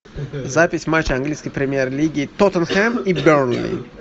запись матча английской премьер лиги тоттенхэм и бернли